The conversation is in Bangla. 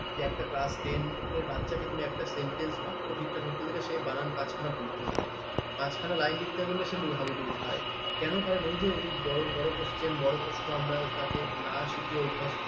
যে একটা class ten বাচ্চাকে তুমি sentence বাক্য ঠিকঠাক লিখতে দিলে সে বানান পাঁচখানা ভুল করে দেবে। পাঁচখানা লাইন লিখতে বললে সে হাবুডুবু খ খায় কান কারণ ওই যে ওই বড় বড় question আমরা আমাকে না শিখিয়ে অভ্যস্ত।